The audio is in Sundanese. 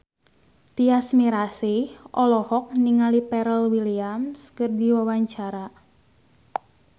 Tyas Mirasih olohok ningali Pharrell Williams keur diwawancara